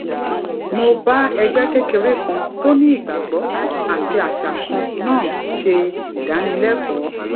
mo bá ẹgbé kékeré kan tó ní ìgbàgbó àti àṣà kan náà ṣe ìdánilékòó